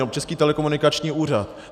Nebo Český telekomunikační úřad.